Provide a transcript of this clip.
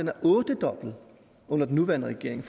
er ottedoblet under den nuværende regering